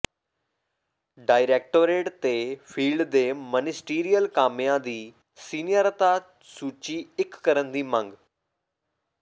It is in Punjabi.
ਡਾਇਰੈਕਟੋਰੇਟ ਤੇ ਫੀਲਡ ਦੇ ਮਨਿਸਟੀਰੀਅਲ ਕਾਮਿਆਂ ਦੀ ਸੀਨੀਆਰਤਾ ਸੂਚੀ ਇਕ ਕਰਨ ਦੀ ਮੰਗ